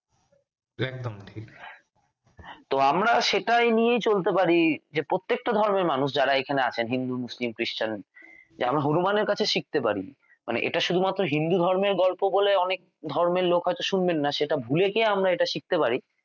তো আমরা সেটাই নিয়ে চলতে পারি যে প্রত্যেকটা ধর্মের মানুষ যাঁরা এখানে আছেন হিন্দু, মুসলিম, খ্রিস্টান যেন হনুমান এর কাছে শিখতে পারি মানে এটা শুধুমাত্র হিন্দুধর্মের গল্প বলে অনেক ধর্মের লোক আছে শুনবেন না সেটা ভুলে গিয়ে আমরা শিখতে পারি